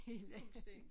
Fuldstændig